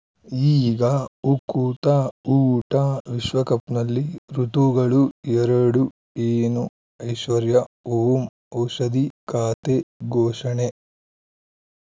ಈಗ ಉಕುತ ಊಟ ವಿಶ್ವಕಪ್‌ನಲ್ಲಿ ಋತುಗಳು ಎರಡು ಏನು ಐಶ್ವರ್ಯಾ ಓಂ ಔಷಧಿ ಖಾತೆ ಘೋಷಣೆ